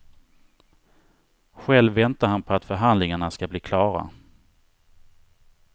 Själv väntar han på att förhandlingarna ska bli klara.